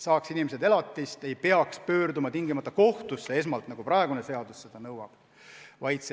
Selleks, et inimesed saaksid elatist, ei peaks tingimata esmalt pöörduma kohtusse, nagu praegune seadus nõuab.